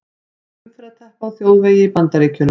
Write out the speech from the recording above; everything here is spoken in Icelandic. Umferðarteppa á þjóðvegi í Bandaríkjunum.